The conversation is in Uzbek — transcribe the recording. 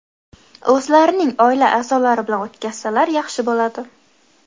o‘zlarining oila a’zolari bilan o‘tkazsalar yaxshi bo‘ladi.